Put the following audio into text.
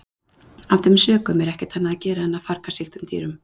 Af þeim sökum er ekkert annað að gera en að farga sýktum dýrum.